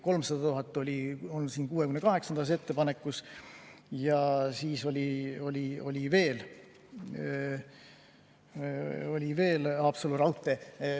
300 000 oli 68. ettepanekus ja ka Haapsalu raudteed.